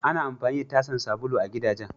Ana amfani da tasan sabulu a gidajen.